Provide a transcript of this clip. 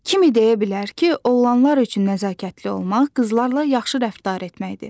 Kim deyə bilər ki, oğlanlar üçün nəzakətli olmaq qızlarla yaxşı rəftar etməkdir?